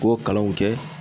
K'o kalanw kɛ.